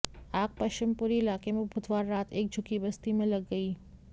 आग पश्चिमपुरी इलाके में बुधवार रात एक झुग्गी बस्ती में लग गई